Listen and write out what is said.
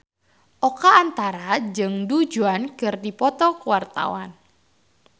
Oka Antara jeung Du Juan keur dipoto ku wartawan